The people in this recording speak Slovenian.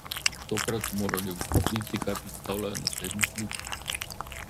Tokrat so morali ugotoviti, kaj predstavljajo naslednje slike.